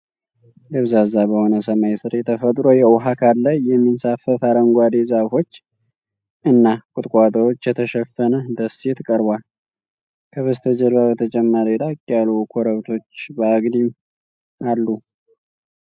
ደብዛዛ በሆነ ሰማይ ሥር የተፈጥሮ የውሃ አካል ላይ የሚንሳፈፍ አረንጓዴ ዛፎች እና ቁጥቋጦዎች የተሸፈነ ደሴት ቀርቧል። ከበስተጀርባ ተጨማሪ ራቅ ያሉ ኮረብቶች በአግድም አሉ።